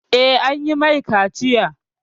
Eh, an yi mai kaciya